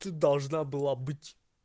ты должна была быть